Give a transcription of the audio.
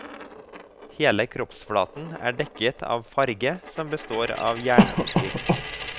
Hele kroppsflaten er dekket av farge som består av jernoker.